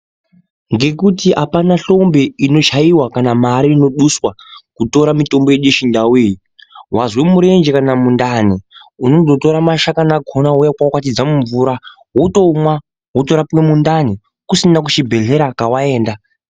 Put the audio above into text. Ngekuti apana hlombe inochaiwa kana mari inoduswa kutora mitombo yedu yechindau iyi wazwe murenje kana mundani unondotora mashakani akona wouya wokwakwatidza mumvura wotomwa wotorapwe mundani kusina kuchibhedhlera kwawaenda.